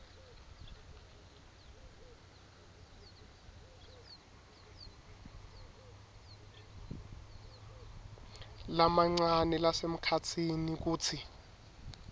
lamancane nalasemkhatsini kutsi